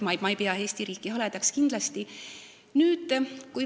Ma ei pea kindlasti Eesti riiki haledaks.